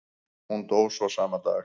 Hún dó svo sama dag.